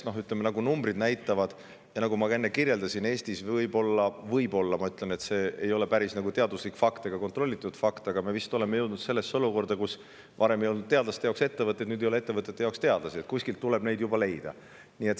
Nagu numbrid näitavad ja nagu ma ka enne kirjeldasin, Eestis võib olla selline olukord – ma ütlen, et võib olla, sest see ei ole päris teaduslik ega kontrollitud fakt –, kus varem ei olnud teadlaste jaoks ettevõtteid, nüüd ei ole ettevõtete jaoks teadlasi ja juba tuleb neid kuskilt leida.